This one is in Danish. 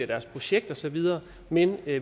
deres projekt og så videre men